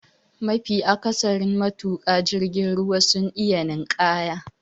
Mafi akasarin matuka jirgin ruwa sun iya ninƙaya.